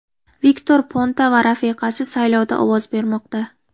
Viktor Ponta va rafiqasi saylovda ovoz bermoqda.